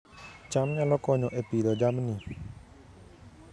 cham nyalo konyo e Pidhoo jamni